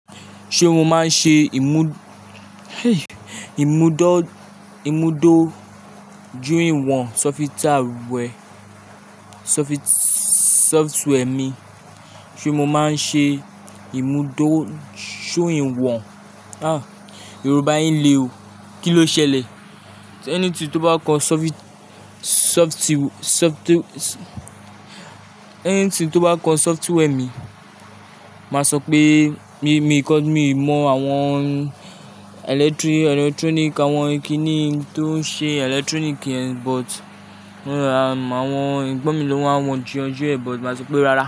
Ṣé mo máa ń ṣe ìmù- ìmúdọ́- ìmúdó ju ìwọ̀n software, softwa- software mi. Ṣé mo máa ń ṣe ìmúdó ju ìwọ̀n? Ah! Yorùbá yiń lé o. Kí ló ṣẹlẹ̀? Ẹni tí tó bá kọ softi- softi- softi- ẹni tí tó bá kọ software mi, màá sọ pé mí, mi kọ mí mọ àwọn eletri- electronic, àwọn ìkíni tó ń ṣe electronic but núdá, àwọn egbọ́n mi lọ́wọ́, àwọn ju ọjọ́ ẹ̀, but màá sọ pé rárá.